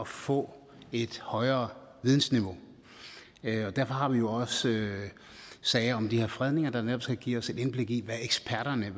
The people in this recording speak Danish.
få et højere vidensniveau derfor har vi jo også sager om de her fredninger der netop skal give os et indblik i hvad eksperterne